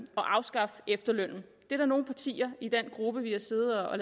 at afskaffe efterlønnen det er der nogle partier i den gruppe vi har siddet og